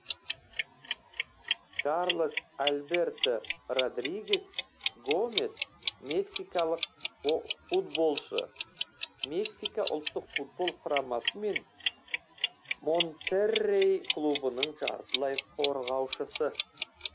карлос альберто родригес гомес мексикалық футболшы мексика ұлттық футбол құрамасы мен монтеррей клубының жартылай қорғаушысы